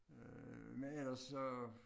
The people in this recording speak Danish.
Øh men ellers så